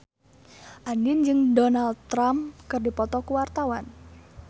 Andien jeung Donald Trump keur dipoto ku wartawan